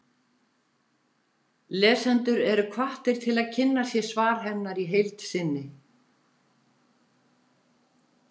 Lesendur eru hvattir til að kynna sér svar hennar í heild sinni.